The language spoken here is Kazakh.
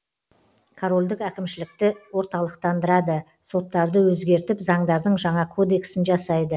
корольдік әкімшілікті орталықтандырады соттарды өзгертіп заңдардың жаңа кодексін жасайды